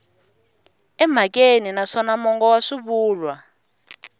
emhakeni naswona mongo wa swivulwa